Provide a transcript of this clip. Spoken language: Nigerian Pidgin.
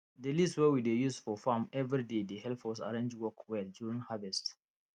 di list wey we dey use for farm every day dey help us arrange work well during harvest